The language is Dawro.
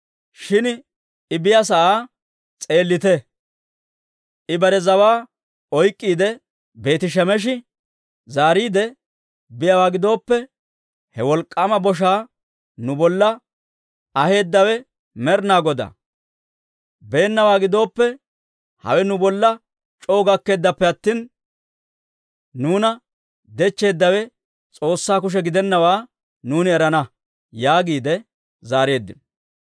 Shin I biyaasa'aa s'eellite; I bare zawaa oyk'k'iide, Beeti-Shemeshi zaariidde biyaawaa gidooppe, ha wolk'k'aama boshaa nu bolla aheedawe Med'inaa Godaa; beennawaa gidooppe, hawe nu bolla c'oo gakkeeddappe attina, nuuna dechcheeddawe S'oossaa kushe gidennawaa nuuni erana» yaagiide zaareeddino.